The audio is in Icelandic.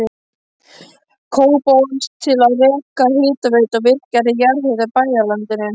Kópavogs til að reka hitaveitu og virkja jarðhita í bæjarlandinu.